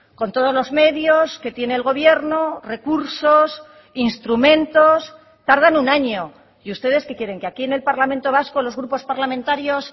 con todos los medios que tiene el gobierno recursos instrumentos tardan un año y ustedes qué quieren que aquí en el parlamento vasco los grupos parlamentarios